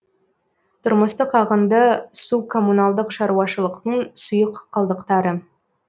тұрмыстық ағынды су коммуналдық шаруашылықтың сұйық қалдықтары